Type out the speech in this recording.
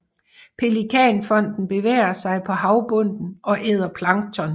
Pelikanfoden bevæger sig på havbunden og æder plankton